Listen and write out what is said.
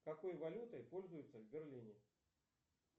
какой валютой пользуются в берлине